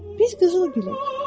Biz qızıl gülüq.